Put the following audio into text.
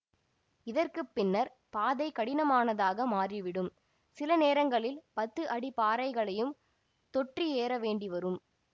இதற்கு பின்னர் பாதை கடினமானதாக மாறிவிடும் சில நேரங்களில் பத்து அடி பாறைகளையும் தொற்றி ஏறவேண்டிவரும்